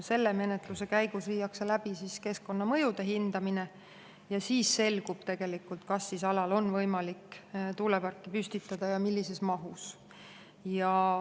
Selle menetluse käigus viiakse läbi keskkonnamõjude hindamine ja siis selgub, kas alal on võimalik tuuleparki püstitada ja millises mahus.